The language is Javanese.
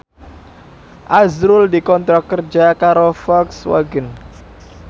azrul dikontrak kerja karo Volkswagen